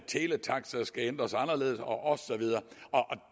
teletaxa skal ændres og og så videre